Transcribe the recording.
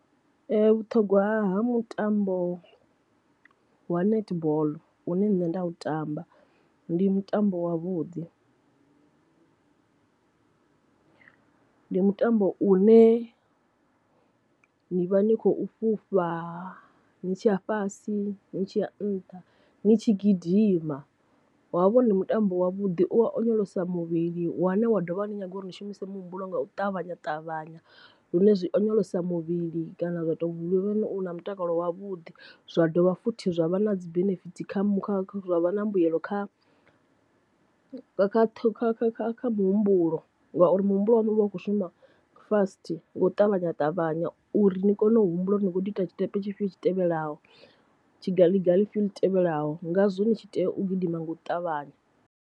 Vhuṱhogwa ha mutambo wa netball une nṋe nda u tamba ndi mutambo wa vhuḓi . Ndi mutambo u ne ni vha ni khou fhufha ni tshiya fhasi ni tshi ya nṱha ni tshi gidima wavho ndi mutambo wa vhuḓi u wa onyolosa muvhili wane wa dovha wa ni nyaga uri ni shumise muhumbulo nga u ṱavhanya ṱavhanya, lune zwi onyolosa muvhili kana zwa tou vha u na mutakalo wavhuḓi zwa dovha futhi zwa vha na dzi benefitsi kha kha zwa vha na mbuyelo kha kha kha kha kha kha muhumbulo, ngauri muhumbulo waṋu uvha u kho shuma fast nga u ṱavhanya ṱavhanya uri ni kone u humbula uri ni kho ḓi ita tshiṱepe tshifhio tshi tevhelaho tshi ga ḽi ga ḽi fhiyo ḽi tevhelaho ngazwo ni tshi tea u gidima nga u ṱavhanya.